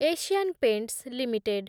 Asian Paints limited